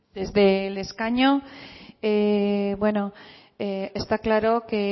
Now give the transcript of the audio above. desde el escaño está claro que